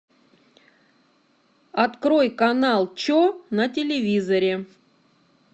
открой канал че на телевизоре